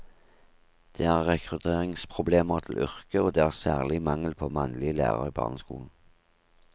Det er rekrutteringsproblemer til yrket, og det er særlig mangel på mannlige lærere i barneskolen.